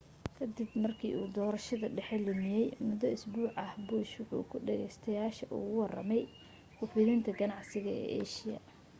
kadib markii uu doorashada dhexe lumiyay muddo usbuuc ah bush wuxu dhagaytayaasha uga warramay ku fidinta ganacsiga ee aasiya